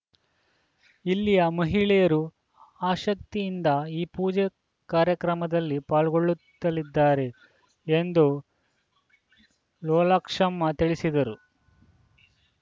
ಇಲ್ಲಿಯ ಮಹಿಳೆಯರು ಆಸ್ಕತಿಯಿಂದ ಈ ಪೂಜಾ ಕಾರ್ಯಕ್ರಮದಲ್ಲಿ ಪಾಲ್ಗೊಳ್ಳುತ್ತಲಿದ್ದಾರೆ ಎಂದು ಲೋಲಾಕ್ಷಮ್ಮ ತಿಳಿಸಿದರು